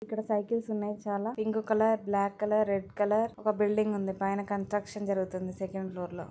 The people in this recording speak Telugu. ఇక్కడ సైక్లస్ ఉన్నాయ్ చాలా pink colour black colour red colour ఓక బిల్డింగ్ ఉంది.పైన కన్స్ట్రక్షన్ జరుగుతోంది సెకండ్ ఫ్లోర్ లో --